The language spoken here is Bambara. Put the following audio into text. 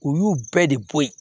U y'u bɛɛ de bɔ yen